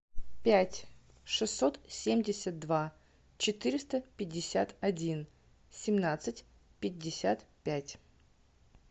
пять шестьсот семьдесят два четыреста пятьдесят один семнадцать пятьдесят пять